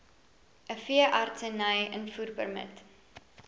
n veeartseny invoerpermit